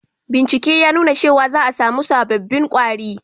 Bincike ya nuna cewa za a samu sabobbin kwari